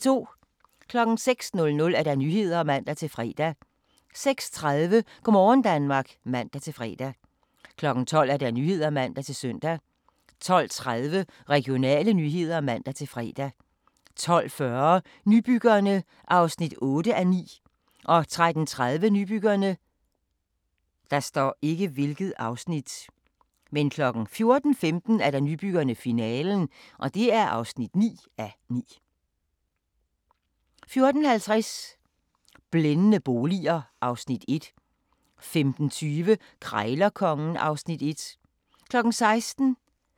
06:00: Nyhederne (man-fre) 06:30: Go' morgen Danmark (man-fre) 12:00: Nyhederne (man-søn) 12:30: Regionale nyheder (man-fre) 12:40: Nybyggerne (8:9) 13:30: Nybyggerne 14:15: Nybyggerne – finalen (9:9) 14:50: Blændende boliger (Afs. 1) 15:20: Krejlerkongen (Afs. 1) 16:00: Grænsepatruljen